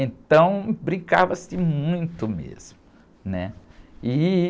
Então, brincava-se muito mesmo, né? E...